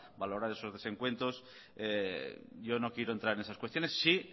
valorar esos desencuentros yo no quiero entrar en esas cuestiones sí